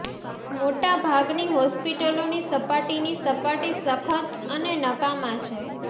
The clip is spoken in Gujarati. મોટા ભાગની હોસ્પિટલોની સપાટીની સપાટી સખત અને નકામા છે